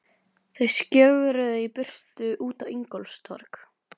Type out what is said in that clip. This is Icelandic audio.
Þau skjögruðu í burtu út á Ingólfstorg.